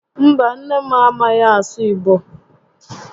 Mba, nne m a maghị asụ Igbo